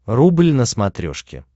рубль на смотрешке